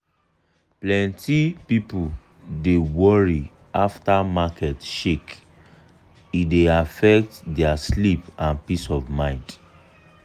plenty people dey worry after market shake e dey affect their sleep and peace of mind.